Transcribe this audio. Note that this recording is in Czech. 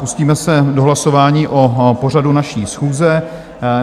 Pustíme se do hlasování o pořadu naší schůze.